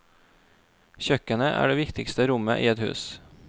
Kjøkkenet er det viktigste rommet i et hus.